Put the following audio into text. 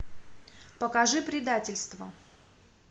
покажи предательство